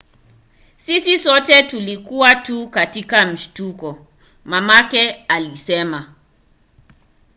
"sisi sote tulikuwa tu katika mshtuko, mamake alisema